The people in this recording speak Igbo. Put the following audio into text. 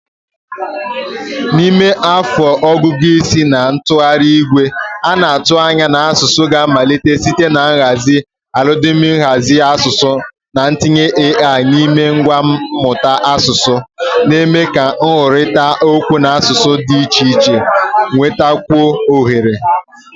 N'ime afọ ọgụgụ isi na ntụgharị igwe, a na-atụ anya na asụsụ ga-amalite site na nhazi algọridim nhazi asụsụ na ntinye AI n'ime ngwa mmụta asụsụ, na-eme ka nkwurịta okwu n'asụsụ dị iche iche nwetakwuo ohere